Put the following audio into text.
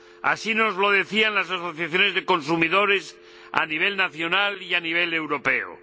Así nos lo decían las asociaciones de consumidores a nivel nacional y a nivel europeo.